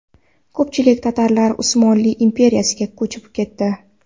Ko‘pchilik tatarlar Usmonli imperiyasiga ko‘chib ketdi.